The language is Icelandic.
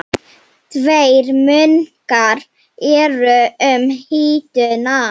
Tveir munkar eru um hituna